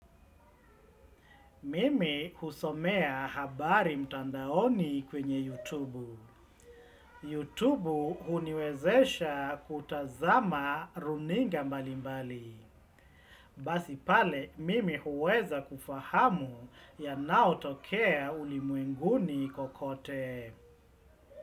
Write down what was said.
Mimi husomea habari mtandaoni kwenye YouTube. YouTube huniwezesha kutazama runinga mbali mbali. Basi pale, mimi huweza kufahamu yanaotokea ulimwenguni kokote.